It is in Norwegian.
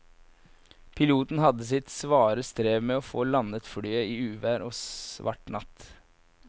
Piloten hadde sitt svare strev med å få landet flyet i uvær og svart natt.